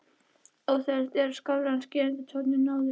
Óþægilegt en skárra en skerandi tónninn áður.